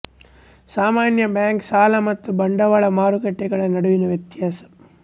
ಸಾಮಾನ್ಯ ಬ್ಯಾಂಕ್ ಸಾಲ ಮತ್ತು ಬಂಡವಾಳ ಮಾರುಕಟ್ಟೆಗಳ ನಡುವಿನ ವ್ಯತ್ಯಾಸ